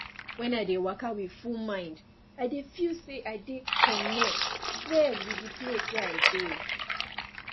when i dey waka with full mind i dey feel say i dey connect well with de place wey i dey